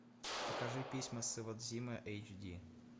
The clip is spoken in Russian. покажи письма с иводзимы эйч ди